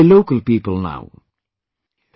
They are being helped by local people now